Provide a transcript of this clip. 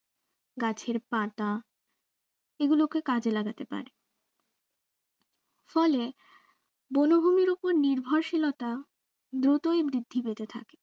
গাছের পাতা এগুলোকে কাজে লাগাতে পারে ফলে বনভূমির ওপর নির্ভরশীলতা দ্রুতই বৃদ্ধি পেতে থাকে